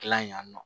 Gilan yan nɔ